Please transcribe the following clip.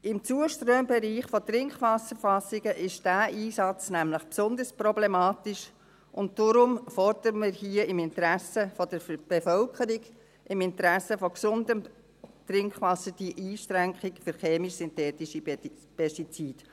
Im Zuströmbereich von Trinkwasserfassungen ist dieser Einsatz nämlich besonders problematisch, und daher fordern wir hier im Interesse der Bevölkerung, im Interesse von gesundem Trinkwasser diese Einschränkung für chemisch-synthetische Pestizide.